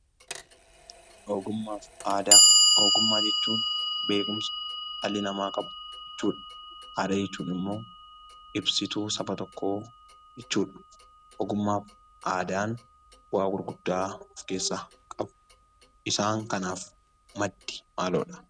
Ogummaafi aadaa; ogummaa jechuun, beekumsa dhalli nama qabu jechuudha. Aadaa jechuun immoo ibsituu saba tokkoo jechuudha. ogummaafi aadaan bu'a gurguddaa of keessa qabu. Isaan kanaaf maddi maloodha?